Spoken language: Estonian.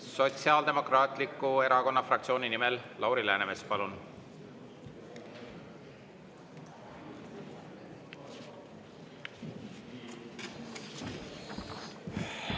Sotsiaaldemokraatliku Erakonna fraktsiooni nimel Lauri Läänemets, palun!